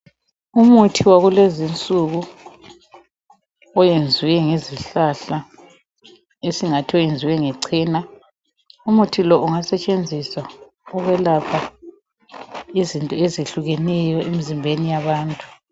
Imithi yakulezi insuku, iyenzwe ngezihlahla, esingathi uyenzwe ngecena. Umuthi lo ungasetshenziswa ukwelapha izinto ezihlukeneyo emzimbeni yabantu.